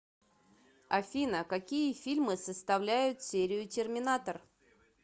афина какие фильмы составляют серию терминатор